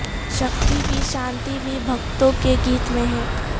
شکتی بھی شانتی بھی بھگتوں کے گیت میں ہے